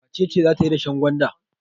Wace ce za ta yi dashen gwanda?